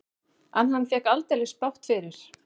En hann fékk aldeilis bágt fyrir.